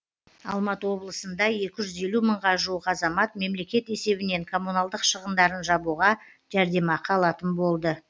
алматы облысында екі жүз елу мыңға жуық азамат мемлекет есебінен коммуналдық шығындарын жабуға жәрдемақы алатын болды